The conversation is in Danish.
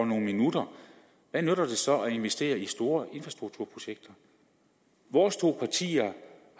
nogle minutter hvad nytter det så at investere i store infrastrukturprojekter vores to partier